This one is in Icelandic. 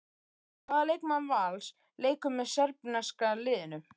Hvaða leikmaður Vals leikur með serbneska liðinu?